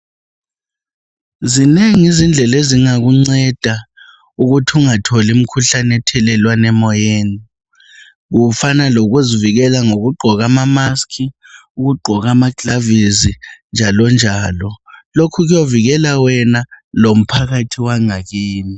Zinengi izindlela ezingakunceda ukuthi ungatholi mkhuhlane ethelwana emoyeni. Kufana lokugqoka amamask ,ukugqoka ama gilavisi njalonjalo .Lokhu kuyavikela wena lomphakathi wangakini .